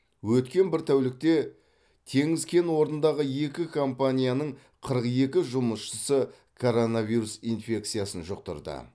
өткен бір тәулікте теңіз кен орнындағы екі компанияның қырық екі жұмысшысы коронавирус инфекциясын жұқтырды